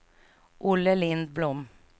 Olle Lindblom